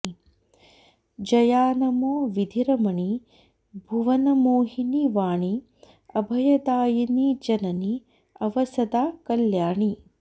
जया नमो विधिरमणि भुवनमोहिनि वाणि अभयदायिनि जननि अव सदा कल्याणि